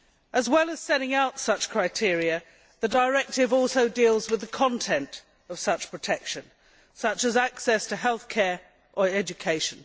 As well as setting out such criteria, the directive deals with the content of such protection, such as access to healthcare or education.